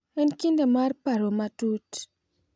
En kinde mar paro matut,